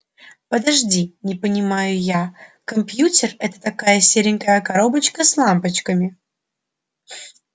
подожди не понимаю я компьютер это такая серенькая коробочка с лампочками